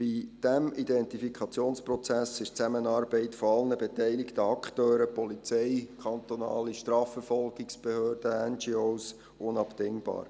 Bei diesem Identifikationsprozess ist die Zusammenarbeit aller beteiligten Akteure – der Polizei, der kantonalen Strafverfolgungsbehörde, der NGO – unabdingbar.